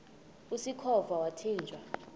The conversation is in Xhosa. usikhova yathinjw a